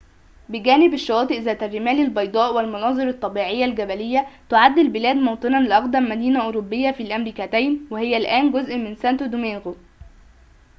بجانب الشواطئ ذات الرمال البيضاء والمناظر الطبيعية الجبلية تعد البلاد موطنًا لأقدم مدينة أوروبية في الأمريكتين وهي الآن جزء من سانتو دومينغو